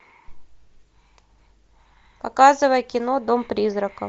показывай кино дом призраков